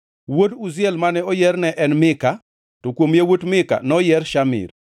Wuod Uziel mane oyier ne en, Mika, to kuom yawuot Mika noyier Shamir.